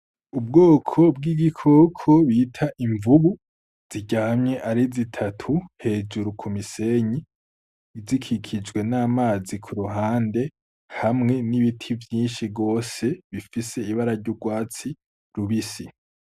Ubwoko bw'igikoko bita imvugu ziryamye ari zitatu hejuru ku misenyi zikikijwe n'amazi ku ruhande hamwe n'ibiti vyinshi rwose bifise ibara ry'urwatsi rubisi.